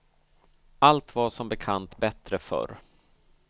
Allt var som bekant bättre förr.